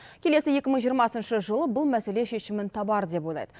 келесі екі мың жиырмасыншы жылы бұл мәселе шешімін табар деп ойлайды